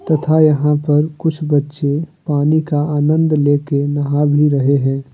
तथा यहां पर कुछ बच्चे पानी का आनंद लेके नहा भी रहे हैं।